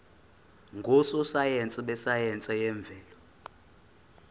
ngososayense besayense yemvelo